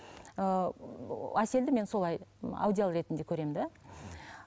ыыы әселді мен солай аудиал ретінде көремін де